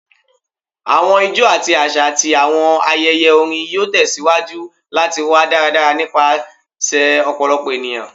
Awọn ijó ti aṣa ati awọn ayẹyẹ orin yoo tẹsiwaju lati wa daradara nipasẹ ọpọlọpọ eniyan